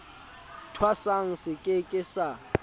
thwasang se ke ke sa